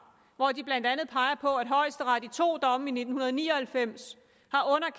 hvor de blandt andet peger på at højesteret i to domme i nitten ni og halvfems